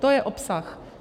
To je obsah.